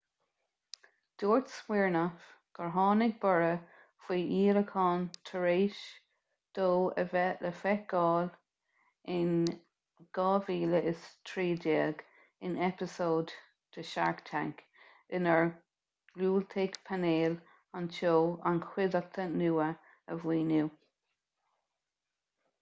dúirt siminoff gur tháinig borradh faoi dhíolacháin tar éis dó a bheith le feiceáil in 2013 in eipeasóid de shark tank inar dhiúltaigh painéal an tseó an chuideachta nua a mhaoiniú